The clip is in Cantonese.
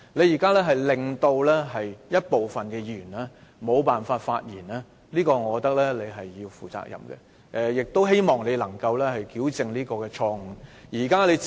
現在一部分議員因你的決定而無法發言，我覺得你要為此負上責任，亦希望你能夠糾正錯誤。